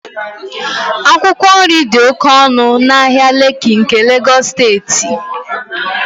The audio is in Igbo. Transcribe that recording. akwụkwọ nri dị oke ọnụ n'ahịa lekki nke Lagos steeti